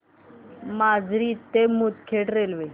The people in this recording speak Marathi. माजरी ते मुदखेड रेल्वे